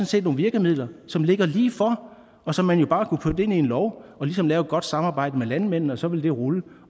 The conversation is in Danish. set nogle virkemidler som ligger lige for og som man jo bare kunne putte ind i en lov og ligesom lave et godt samarbejde med landmændene om så ville det rulle